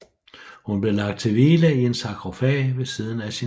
Hun blev lagt til hvile i en sarkofag ved siden af sin mand